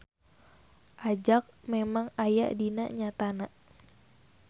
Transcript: Ajag memang aya dina nyatana.